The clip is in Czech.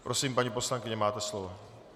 Prosím, paní poslankyně, máte slovo.